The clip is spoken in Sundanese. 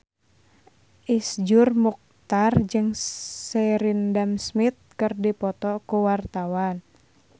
Iszur Muchtar jeung Sheridan Smith keur dipoto ku wartawan